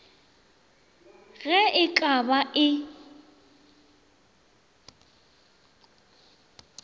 ge e ka ba e